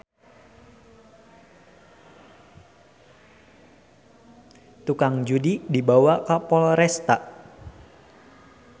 Tukang judi dibawa ka Polresta